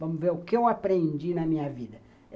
Vamos ver o que eu aprendi na minha vida.